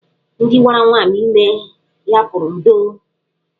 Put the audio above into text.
Ndị gwara nwaanyị ime ya pụrụ 'ndo'.